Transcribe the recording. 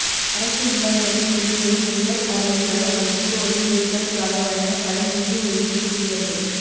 அரசு இல்லங்களில் குடியேறும் உயர் பதவிகள் வகிப்போரின் வீடுகளுக்காக வழங்கப்படும் நிதி ஒதுக்கீடு உயர்வு